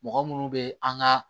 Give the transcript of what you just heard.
Mɔgɔ munnu be an ga